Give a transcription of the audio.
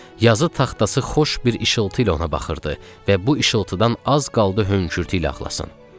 Yazı taxtası xoş bir işıltı ilə ona baxırdı və bu işıltıdan az qaldı hönkürtü ilə ağlasın.